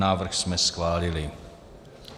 Návrh jsme schválili.